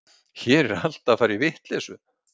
Hér er allt að fara í vitleysu.